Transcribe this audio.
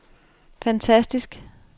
fantastisk